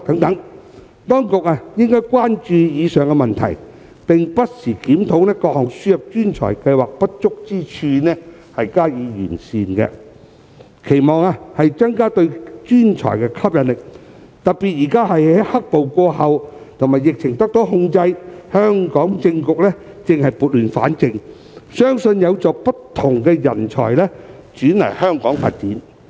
當局應關注以上問題，不時檢討並完善各項輸入專才計劃的不足之處，以期增加對專才的吸引力，特別是現在"黑暴"過後和疫情受控，香港政局正在撥亂反正，相信有助不同人才前來香港發展。